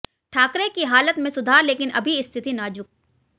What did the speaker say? ठाकरे की हालत में सुधार लेकिन अभी स्थिति नाजुक